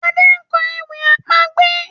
Ade nkọ ewì àpagbè.